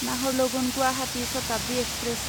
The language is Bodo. नाहरलगुन गुवाहाटी शताब्दि एक्सप्रेस